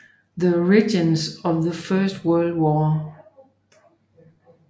The Origins of the First World War